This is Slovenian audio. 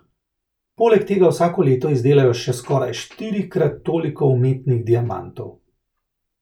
Poleg tega vsako leto izdelajo še skoraj štirikrat toliko umetnih diamantov.